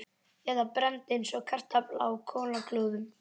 Eða brennd eins og kartafla á kolaglóðum.